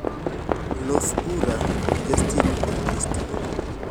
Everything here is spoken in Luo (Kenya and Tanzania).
los pura gi justin kod kristina